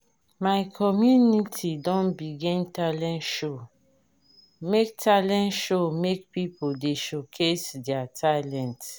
my community don begin talent show make talent show make pipo dey showcase their talent.